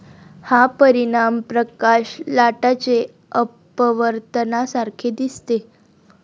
हा परिणाम प्रकाश लाटाचे अपवर्तनासारखे दिसते.